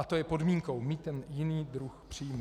A to je podmínkou, mít ten jiný druh příjmu.